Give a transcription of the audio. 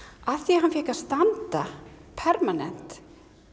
af því að hann fékk að standa permanent